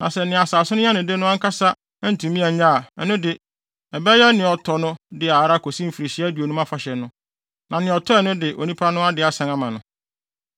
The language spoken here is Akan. Na sɛ nea asase no yɛ ne de no ankasa antumi annye a, ɛno de, ɛbɛyɛ nea ɔtɔ no dea ara kosi Mfirihyia Aduonum Afahyɛ no, na nea ɔtɔe no de onipa no ade asan ama no.